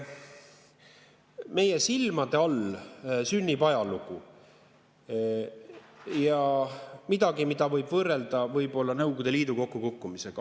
Meie silmade all sünnib ajalugu, midagi, mida võib võrrelda võib-olla Nõukogude Liidu kokkukukkumisega.